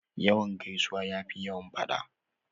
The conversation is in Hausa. Yawan gaisuwa ya fi yawan faɗa.